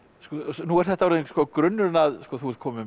nú er þetta orðinn grunnurinn að þú ert kominn með